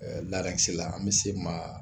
la an bɛ se maa